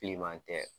Bilenman tɛ